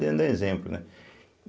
exemplo, né.